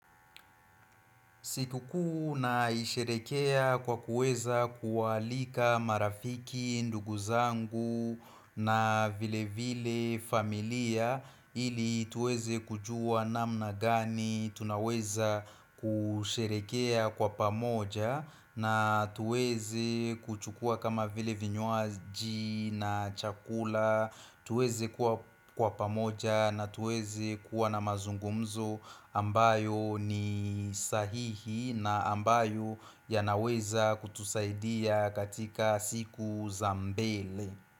Sikukuu naisherehekea kwa kuweza kuwaalika marafiki, ndugu zangu na vile vile familia ili tuweze kujua namna gani, tunaweza kusherehekea kwa pamoja na tuweze kuchukua kama vile vinywaji na chakula. Tuweze kuwa kwa pamoja na tuweze kuwa na mazungumzo ambayo ni sahihi na ambayo yanaweza kutusaidia katika siku za mbele.